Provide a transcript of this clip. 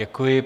Děkuji.